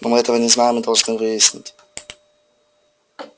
но мы этого не знаем и должны выяснить